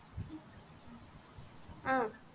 ஆஹ்